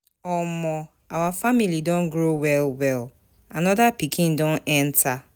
Omo, our family don grow well-well, anoda pikin don enta.